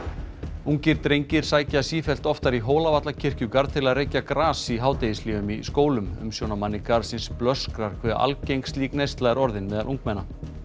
ungir drengir sækja sífellt oftar í til að reykja gras í hádegishléum í skólum umsjónarmanni garðsins blöskrar hve algeng slík neysla er orðin meðal ungmenna